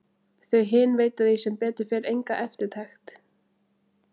Þau hin veita því sem betur fer enga eftirtekt.